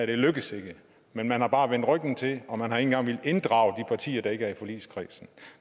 ville lykkes men man har bare vendt ryggen til og man har ikke engang villet inddrage de partier der ikke er i forligskredsen